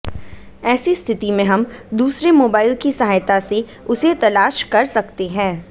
AC स्थिति में हम दूसरे मोबाइल की सहायता से उसे तलाश कर सकते हैं